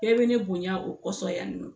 Bɛɛ bɛ ne bonya o kɔsɔn ya nɔ.